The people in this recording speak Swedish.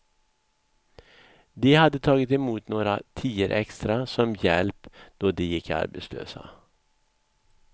De hade tagit emot några tior extra som hjälp då de gick arbetslösa.